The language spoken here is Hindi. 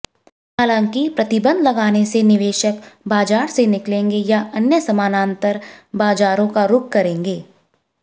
हालांकि प्रतिबंध लगाने से निवेशक बाजार से निकलेंगे या अन्य समानांतर बाजारों का रुख करेंगे